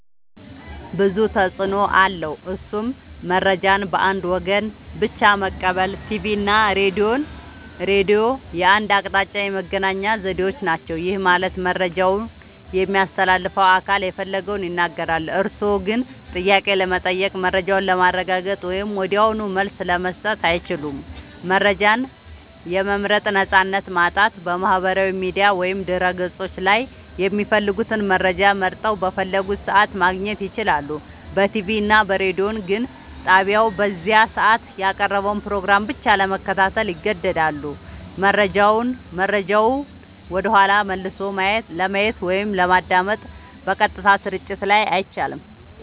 ብዙ ተፅኖ አለዉ እሱም :-መረጃን በአንድ ወገን ብቻ መቀበል ቲቪ እና ሬዲዮ የአንድ አቅጣጫ የመገናኛ ዘዴዎች ናቸው። ይህ ማለት መረጃውን የሚያስተላልፈው አካል የፈለገውን ይናገራል፤ እርስዎ ግን ጥያቄ ለመጠየቅ፣ መረጃውን ለማረጋገጥ ወይም ወዲያውኑ መልስ ለመስጠት አይችሉም። መረጃን የመምረጥ ነፃነት ማጣት በማህበራዊ ሚዲያ ወይም በድረ-ገጾች ላይ የሚፈልጉትን መረጃ መርጠው፣ በፈለጉት ሰዓት ማግኘት ይችላሉ። በቲቪ እና ሬዲዮ ግን ጣቢያው በዚያ ሰዓት ያቀረበውን ፕሮግራም ብቻ ለመከታተል ይገደዳሉ። መረጃውን ወደኋላ መልሶ ለማየት ወይም ለማዳመጥ (በቀጥታ ስርጭት ላይ) አይቻልም።